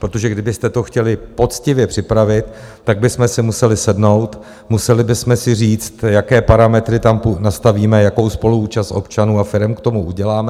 Protože kdybyste to chtěli poctivě připravit, tak bychom si museli sednout, museli bychom si říct, jaké parametry tam nastavíme, jakou spoluúčast občanů a firem k tomu uděláme.